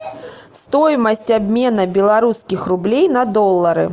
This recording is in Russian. стоимость обмена белорусских рублей на доллары